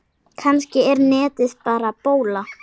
Kannski er netið bara bóla.